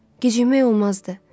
Gecikmək olmazdı.